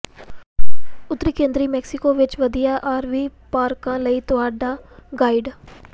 ਉੱਤਰੀ ਕੇਂਦਰੀ ਮੈਕਸੀਕੋ ਵਿੱਚ ਵਧੀਆ ਆਰਵੀ ਪਾਰਕਾਂ ਲਈ ਤੁਹਾਡਾ ਗਾਈਡ